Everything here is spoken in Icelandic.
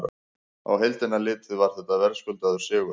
Á heildina litið var þetta verðskuldaður sigur.